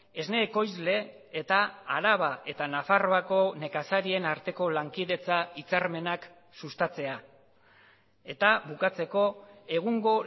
esne ekoizle eta araba eta nafarroako nekazarien arteko lankidetza hitzarmenak sustatzea eta bukatzeko egungo